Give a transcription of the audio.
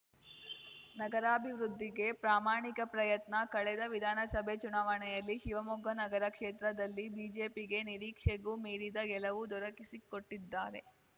ನಗರಾಭಿವೃದ್ಧಿಗೆ ಪ್ರಾಮಾಣಿಕ ಪ್ರಯತ್ನ ಕಳೆದ ವಿಧಾನಸಭೆ ಚುನವಾಣೆಯಲ್ಲಿ ಶಿವಮೊಗ್ಗ ನಗರ ಕ್ಷೇತ್ರದಲ್ಲಿ ಬಿಜೆಪಿಗೆ ನಿರೀಕ್ಷೆಗೂ ಮೀರಿದ ಗೆಲುವು ದೊರಕಿಸಿಕೊಟ್ಟಿದ್ದಾರೆ